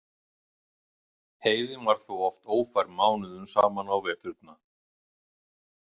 Heiðin var þó oft ófær mánuðum saman á veturna.